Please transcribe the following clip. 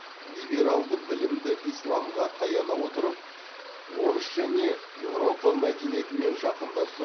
либералды білімді исламға таяна отырып орыс және еуропа мәдениетімен жақындасу